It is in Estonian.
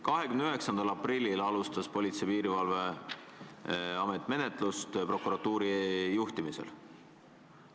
29. aprillil alustas Politsei- ja Piirivalveamet prokuratuuri juhtimisel menetlust.